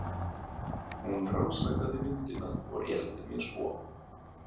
Hún rannsakaði myndina og rétti mér svo.